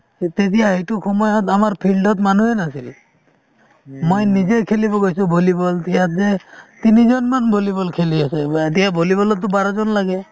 তেতিয়া সেইটো সময়ত আমাৰ field ত মানুহে নাছিল । মই নিজে খেলিব গৈছিলো ভলীবল, তিনিজন মান ভলীবল খেলি আছে, এতিয়া ভলীবলত টো বাৰ জন লাগে